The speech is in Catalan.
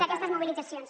d’aquestes mobilitzacions